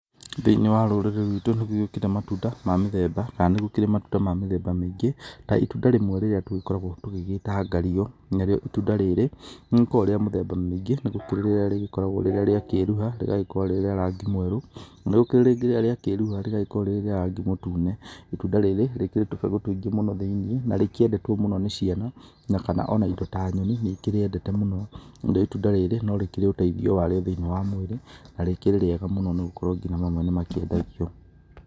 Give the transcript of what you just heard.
Thĩinĩ wa rũrĩrĩ rwitũ nĩ gũgĩũkĩte matunda ma mĩthemba kana nĩ gũkĩrĩ matunda ma mĩthemba mĩingĩ ta itunda rĩmwe rĩrĩa tũgĩkoragwo tũgĩgĩta ngario. Narĩo itunda rĩrĩ nĩ rĩkoragwo rĩa mĩthemba mĩingĩ, nĩ gũgĩkoragwo rĩrĩa rĩagĩkorwo rĩrĩa rĩakĩruha rĩgagĩkorwo rĩrĩ rĩa rangi mwerũ, na nĩ kũrĩ rĩrĩa rĩakĩruha rĩgakorwo rĩrĩ rĩa rangi mũtune. Itunda rĩrĩ rĩkĩrĩ tũbegũ tũingĩ mũno thĩiniĩ, na rĩkĩendetwo mũno nĩ ciana kana ona indo ta nyoni nĩ ikĩrĩendete mũno. Narĩo itunda rĩrĩ no rĩkĩrĩ ũteithio warĩo thĩinĩ wa mwĩrĩ na rĩkĩrĩ rĩega mũno nĩ gũkorwo ngina mamwe nĩ makĩendagio.